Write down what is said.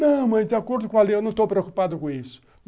Não, mas de acordo com a lei, eu não estou preocupado com isso.